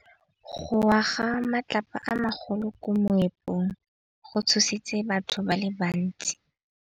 Go wa ga matlapa a magolo ko moepong go tshositse batho ba le bantsi.